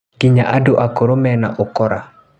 Nginya andũ akũrũ mena ũkora